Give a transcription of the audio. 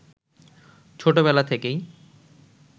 ছোট বেলা থেকেই